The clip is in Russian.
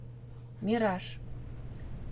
мираж